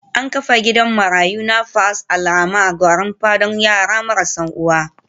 An kafa gidan marayu na Nafas Alrahman Gwarinpa don yara marasa uwa